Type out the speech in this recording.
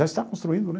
Já está construindo, né?